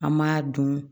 An m'a dun